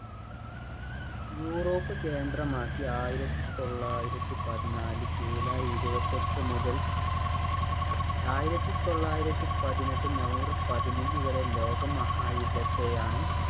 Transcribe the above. Europe കേന്ദ്രമാക്കി ആയിരത്തി തൊള്ളായിരത്തി പതിനാല് july ഇരുപത്തിയെട്ട് മുതൽ ആയിരത്തി തൊള്ളായിരത്തി പതിനെട്ട് november പതിനൊന്ന് വരെ ലോക മഹാ യുദ്ധത്തെയാണ്